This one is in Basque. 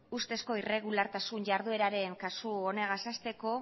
ustezko erregulartasun jardueraren kasu honegaz hasteko